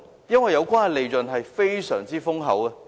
因為有關的利潤十分豐厚。